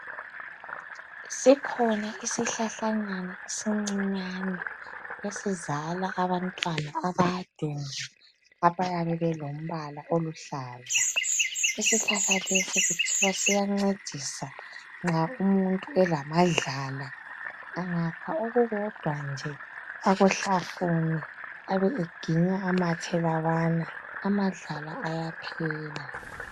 Sikhona isihlahlanyana esincinyani esizala abantwana abade nje abayabebelombala oluhlaza. Isihlahlalesi kuthiwa siyancedisa nxa umuntu elamadlala angakha okukodwa nje akuhlafune abe eginya amathe lawana amadlala ayaphela.